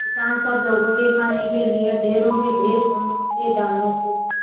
किसान सब लोगों के खाने के लिए ढेरों के ढेर पोंख के दानों को